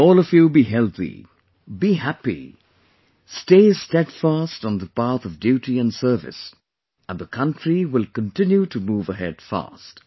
May all of you be healthy, be happy, stay steadfast on the path of duty and service and the country will continue to move ahead fast